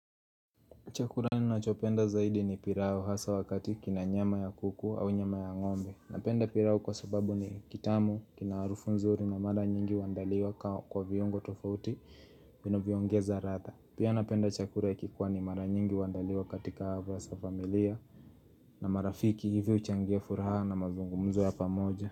Chakula ninachopenda zaidi ni pilau hasa wakati kina nyama ya kuku au nyama ya ngombe. Napenda pilau kwa sababu ni kitamu, kina harufu nzuri na mara nyingi huandaliwa kwa viungo tofauti vinovyongeza ladha. Pia napenda chakula ya kipwani mara nyingi huandaliwa katika hafla za familia na marafiki hivi huchangia furaha na mazungumzo ya pamoja.